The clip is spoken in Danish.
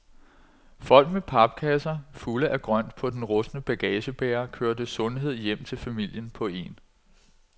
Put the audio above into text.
Folk med papkasser fulde af grønt på den rustne bagagebærer, kørte sundhed hjem til familien på en